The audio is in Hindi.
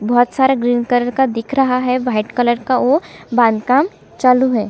बहोत सारे ग्रीन कलर का दिख रहा है वाइट कलर का वो बांद काम चालू है।